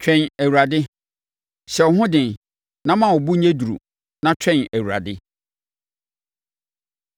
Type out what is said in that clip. Twɛn Awurade. Hyɛ wo ho den na ma wo bo nyɛ duru na twɛn Awurade.